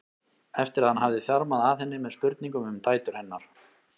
eftir að hann hafði þjarmað að henni með spurningum um dætur hennar.